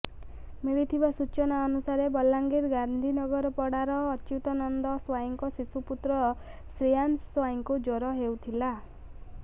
ମିଳିଥିବା ସୂଚନା ଅନୁସାରେ ବଲାଙ୍ଗୀର ଗାନ୍ଧୀନଗରପଡ଼ାର ଅଚ୍ୟୁତାନନ୍ଦ ସ୍ୱାଇଁଙ୍କ ଶିଶୁପୁତ୍ର ଶ୍ରୀୟାଂଶ ସ୍ୱାଇଁଙ୍କୁ ଜ୍ୱର ହେଉଥିଲା